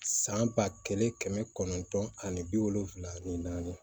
San ba kelen kɛmɛ kɔnɔntɔn ani bi wolonwula ani naani